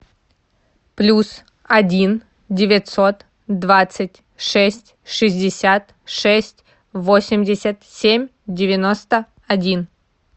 плюс один девятьсот двадцать шесть шестьдесят шесть восемьдесят семь девяносто один